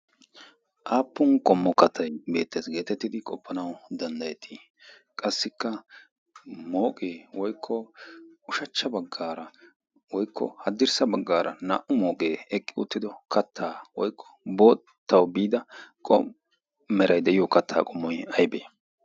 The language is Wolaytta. Aappun qommo kattay beettees geetettidi qoppanawu danddayettii? Qassikka mooqee woykko ushachcha baggaara woykko haddirssa baggaara naa"u mooqee eqqi uttido kattaa woykko boottawu biida komppo meray de'iyo kattaa qommoy aybee?